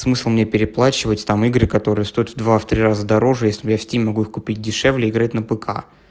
смысл мне переплачивать там игры которые стоят в два в три раза дороже если я в стим могут купить дешевле играть на пк